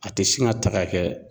A tɛ sin ka ta ka kɛ